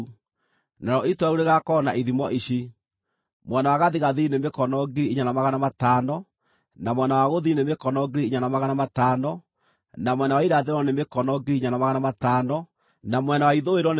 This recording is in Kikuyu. narĩo itũũra rĩu rĩgaakorwo na ithimo ici: mwena wa gathigathini nĩ mĩkono 4,500, na mwena wa gũthini nĩ mĩkono 4,500, na mwena wa irathĩro nĩ mĩkono 4,500, na mwena wa ithũĩro nĩ 4,500.